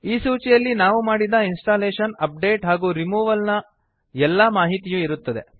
ಈ ಸೂಚಿಯಲ್ಲಿ ನಾವು ಮಾಡಿದ ಇನ್ಸ್ಟಾಲೇಶನ್ ಅಪ್ಡೇಟ್ ಹಾಗೂ ರಿಮೂವಲ್ ನ ಎಲ್ಲಾ ಮಾಹಿತಿಯು ಇರುತ್ತದೆ